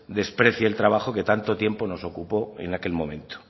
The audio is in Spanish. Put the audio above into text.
desprecie el trabajo que tanto tiempo nos ocupó en aquel momento